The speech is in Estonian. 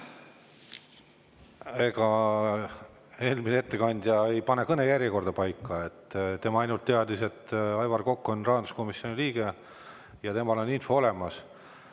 Ega eelmine ettekandja ei pane kõnejärjekorda paika, tema ainult teadis, et Aivar Kokk on rahanduskomisjoni liige ja tal on info olemas.